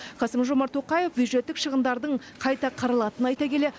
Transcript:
қасым жомарт тоқаев бюджеттік шығындардың қайта қаралатынын айта келе